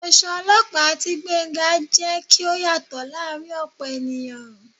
Aṣọ olóòpa tí Gbénga, jé kí ó yàtọ laarin opo ènìyàn